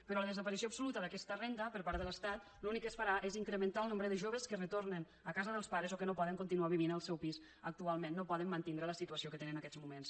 però la desaparició absoluta d’aquesta renda per part de l’estat l’únic que es farà és incrementar el nombre de joves que retornen a casa dels pares o que no poden continuar vivint en el seu pis actualment no poden mantindre la situació que tenen en aquests moments